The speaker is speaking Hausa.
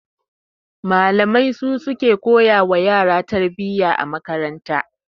Malamai su suke koya wa yara tarbiyya a makaranta